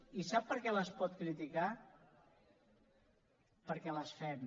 i sap per què les pot criticar perquè les fem